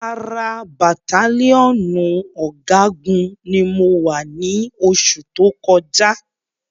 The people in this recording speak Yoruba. Ara bàttálíọ̀nù ọ̀gágun ni mo wà ni oṣù tó kọjá